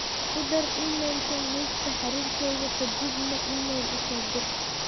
ku dar iimaylkan liiska xiriirkeyga ka dibna iimayl u soo dir